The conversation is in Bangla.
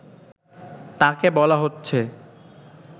তাকে বলা হচ্ছে